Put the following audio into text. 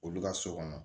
Olu ka so kɔnɔ